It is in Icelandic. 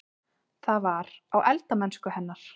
Það var: á eldamennsku hennar.